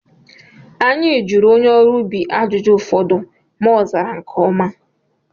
Anyị jụrụ onye ọrụ ubi ajụjụ ụfọdụ ma ozara nke ọma